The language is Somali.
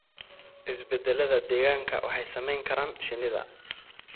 Isbeddellada deegaanka waxay saameyn karaan shinnida.